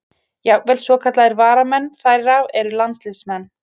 Jafnvel svokallaðir varamenn þeirra eru landsliðsmenn.